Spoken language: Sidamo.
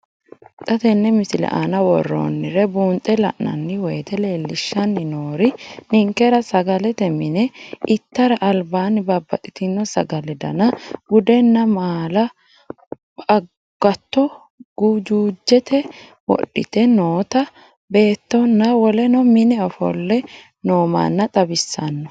Xa tenne missile aana worroonniri buunxe la'nanni woyiite leellishshanni noori ninkera sagalete mine ittara albaanni babbaxxino sagalete dana, buddeena maala, agatto gujuujjete wodhite noota beettonna woleno mine ofolle noommanna xawissanno.